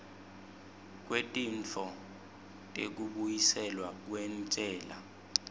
kwetintfo tekubuyiselwa kwentsela